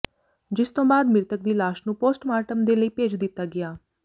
ਜਿਸ ਤੋਂ ਬਾਅਦ ਮ੍ਰਿਤਕ ਦੀ ਲਾਸ਼ ਨੂੰ ਪੋਸਟਮਾਰਟਮ ਦੇ ਲਈ ਭੇਜ ਦਿੱਤਾ ਗਿਆ